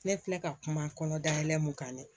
Ne filɛ ka kuma kɔnɔ dalɛn mun kan dɛ